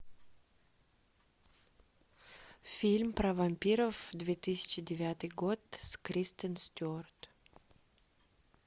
фильм про вампиров две тысячи девятый год с кристен стюарт